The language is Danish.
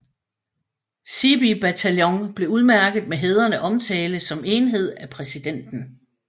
Seebee bataljon blev udmærket med hædrende omtale som enhed af præsidenten